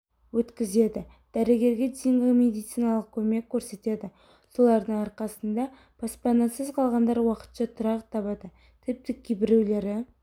өткізеді дәрігерге дейінгі медициналық көмек көрсетеді солардың арқасында баспанасыз қалғандар уақытша тұрақ табады тіпті кейбіреулері